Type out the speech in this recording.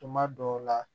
Tuma dɔw la